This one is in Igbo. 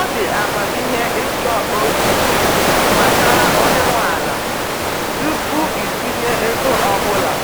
Ọ dị amamihe ịchọ ozi gbasara onye nwe ala tupu itinye ego ọbụla